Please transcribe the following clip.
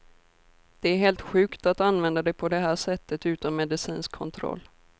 Det är helt sjukt att använda det på det här sättet utan medicinsk kontroll.